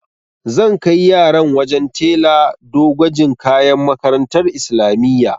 Zan kai yaran wajen tela do gwajin kayan makarantar islamiyya.